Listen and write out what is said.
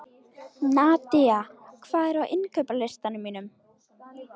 Nadia, hvað er á innkaupalistanum mínum?